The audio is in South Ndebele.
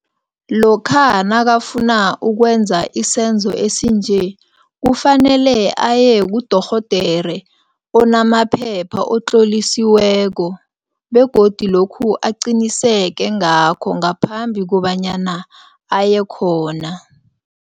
Lokha nakafuna ukwenza isenzo esinje, kufanele aye kudorhodere onamaphepha, otlolisiweko begodu lokhu aqiniseke ngakho ngaphambi kobanyana aye khona.